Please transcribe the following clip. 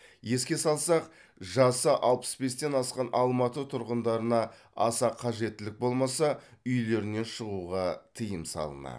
еске салсақ жасы алпыс бестен асқан алматы тұрғындарына аса қажеттілік болмаса үйлерінен шығуға тыйым салынады